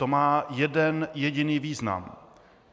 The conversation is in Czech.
To má jeden jediný význam.